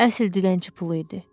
Əsl dilənçi pulu idi.